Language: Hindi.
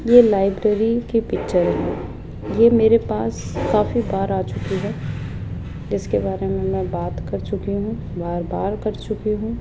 ये लाइब्रेरी की पिक्चर है यह मेरे पास काफी बार आ चुकी है जिसके बारे में मैं बात कर चुकी हूं बार बार कर चुकी हूं।